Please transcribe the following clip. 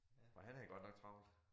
For han havde godt nok travlt